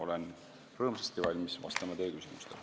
Olen rõõmsasti valmis vastama teie küsimustele.